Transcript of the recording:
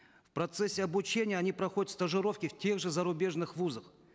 в процессе обучения они проходят стажировки в тех же зарубежных вузах